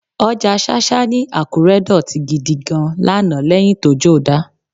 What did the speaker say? Ọjà ṣáṣá ní Àkúré dọ̀tí gidi gan-an lánàá lẹ́yìn tójó dá